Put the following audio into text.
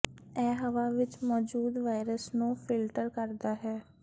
ਇਹ ਹਵਾ ਵਿਚ ਮੌਜੂਦ ਵਾਇਰਸ ਨੂੰ ਫਿਲਟਰ ਕਰਦਾ ਹੈ